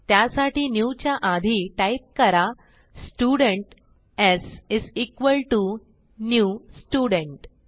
त्यासाठी न्यू च्या आधी टाईप करा students is equal T O new student